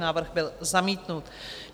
Návrh byl zamítnut.